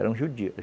Eram judeus.